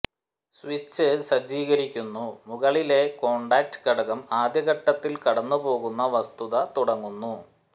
switch സജ്ജീകരിക്കുന്നു മുകളിലെ contact ഘടകം ആദ്യ ഘട്ടത്തിൽ കടന്നു പോകുന്ന വസ്തുത തുടങ്ങുന്നു